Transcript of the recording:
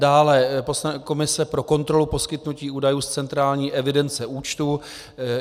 Dále komise pro kontrolu poskytnutí údajů z centrální evidence účtů.